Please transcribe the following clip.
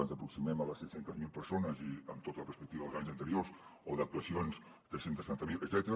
ens aproximem a les set cents miler persones i amb tota la perspectiva dels anys anteriors o d’actuacions tres cents i setanta miler etcètera